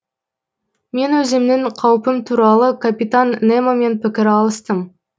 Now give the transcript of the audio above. мен өзімнің қаупім туралы капитан немомен пікір алыстым